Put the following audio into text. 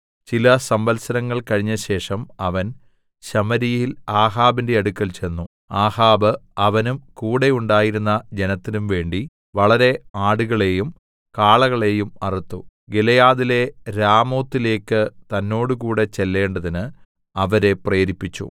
ചില സംവത്സരങ്ങൾ കഴിഞ്ഞശേഷം അവൻ ശമര്യയിൽ ആഹാബിന്റെ അടുക്കൽ ചെന്നു ആഹാബ് അവനും കൂടെയുണ്ടായിരുന്ന ജനത്തിനുംവേണ്ടി വളരെ ആടുകളെയും കാളകളെയും അറുത്തു ഗിലെയാദിലെ രാമോത്തിലേക്ക് തന്നോടുകൂടെ ചെല്ലേണ്ടതിന് അവനെ പ്രേരിപ്പിച്ചു